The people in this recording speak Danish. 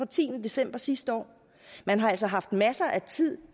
tiende december sidste år man har altså haft masser af tid